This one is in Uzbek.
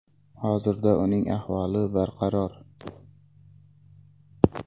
Hozirda uning ahvoli barqaror.